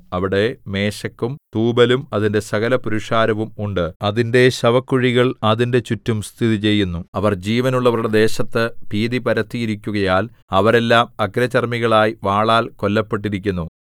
അവിടെ മേശെക്കും തൂബലും അതിന്റെ സകലപുരുഷാരവും ഉണ്ട് അതിന്റെ ശവക്കുഴികൾ അതിന്റെ ചുറ്റും സ്ഥിതിചെയ്യുന്നു അവർ ജീവനുള്ളവരുടെ ദേശത്ത് ഭീതി പരത്തിയിരിക്കുകയാൽ അവരെല്ലാം അഗ്രചർമ്മികളായി വാളാൽ കൊല്ലപ്പെട്ടിരിക്കുന്നു